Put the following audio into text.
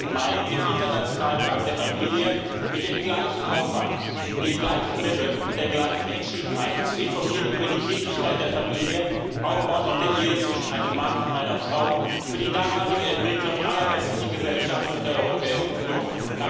15. Mai dem Internationalen Tag der Familie mit dem gleichen Aufwand, den gleichen Mitteln und der gleichen Entschiedenheit zu informieren über die Wichtigkeit der Familie, aufbauend auf der Ehe zwischen einem Mann und einer Frau, für die nachhaltige Entwicklung aller westlichen Gesellschaften und der Europäischen Union.